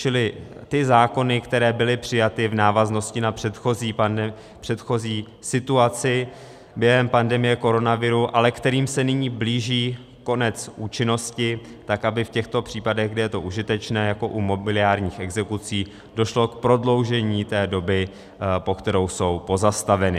- Čili ty zákony, které byly přijaty v návaznosti na předchozí situaci během pandemie koronaviru, ale kterým se nyní blíží konec účinnosti, tak aby v těchto případech, kdy je to užitečné, jako u mobiliárních exekucí, došlo k prodloužení té doby, po kterou jsou pozastaveny.